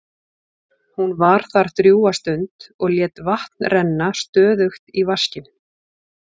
Hún var þar drjúga stund og lét vatn renna stöðugt í vaskinn.